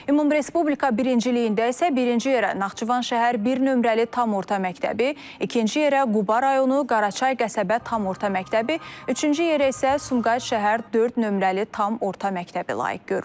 Ümumrespublika birinciliyində isə birinci yerə Naxçıvan şəhər bir nömrəli tam orta məktəbi, ikinci yerə Quba rayonu Qaraçay qəsəbə tam orta məktəbi, üçüncü yerə isə Sumqayıt şəhər dörd nömrəli tam orta məktəbi layiq görülüb.